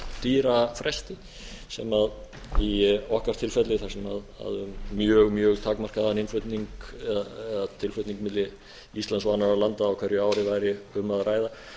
dýra fresti sem í okkar tilfelli þar sem um mjög takmarkaðan innflutning eða tilflutning milli íslands og annarra landa á hverju ári væri um að ræða